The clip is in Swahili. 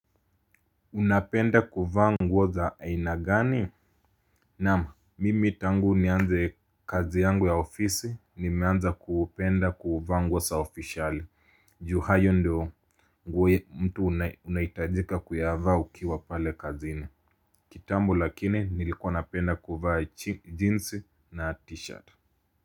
Unapenda kuvaa nguo za aina gani naam mimi tangu nianze kazi yangu ya ofisi nimeanza kupenda kuvaa nguo za oficiali juu hayo ndio nguo unahitajika kuyavaa ukiwa pale kazini kitambo lakini nilikuwa napenda kuvaa jinsi na tishati.